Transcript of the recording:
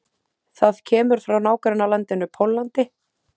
Það kemur frá nágrannalandinu Póllandi.